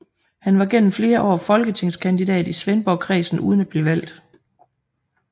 Han var gennem flere år folketingskandidat i Svendborgkredsen uden at blive valgt